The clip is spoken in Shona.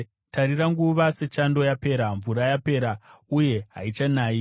Tarira! Nguva yechando yapera; mvura yapera; uye haichanayi.